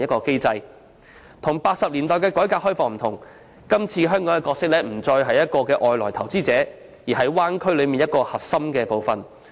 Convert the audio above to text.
與1980年代的改革開放不同，今次香港的角色不再是外來投資者，而是區內其中一個核心部分。